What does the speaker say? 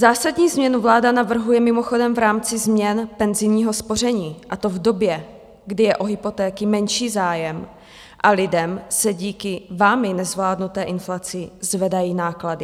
Zásadní změnu vláda navrhuje mimochodem v rámci změn penzijního spoření, a to v době, kdy je o hypotéky menší zájem a lidem se díky vámi nezvládnuté inflaci zvedají náklady.